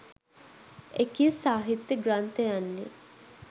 එකී සාහිත්‍ය ග්‍රන්ථයන්ය.